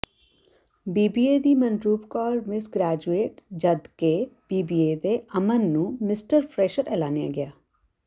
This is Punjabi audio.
ਬੀਬੀਏ ਦੀ ਮਨਰੂਪ ਕੌਰ ਮਿਸ ਗ੍ਰੇਜੂਏਟ ਜਦਕਿ ਬੀਬੀਏ ਦੇ ਅਮਨ ਨੂੰ ਮਿਸਟਰ ਫਰੈਸ਼ਰ ਐਲਾਨਿਆ ਗਿਆ